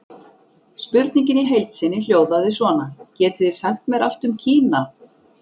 Spurningin í heild sinni hljóðaði svona: Getið þið sagt mér allt um Kína?